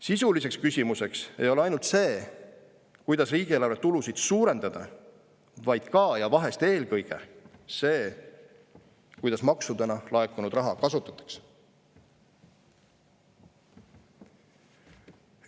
Sisuliseks küsimuseks ei ole ainult see, kuidas riigieelarve tulusid suurendada, vaid ka – ja vahest isegi eelkõige – see, kuidas maksudena laekunud raha kasutatakse.